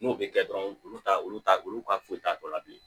N'o bɛ kɛ dɔrɔn olu t'a olu t'a olu ka foyi t'a tɔ la bilen